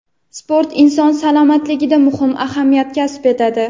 Sport inson salomatligida muhim ahamiyat kasb etadi.